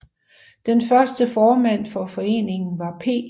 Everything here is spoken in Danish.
Den første formand for foreningen var P